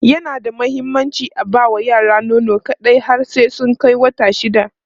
yana da muhimmanci aba ma yara nono kaɗai har sai sun Kai wata shida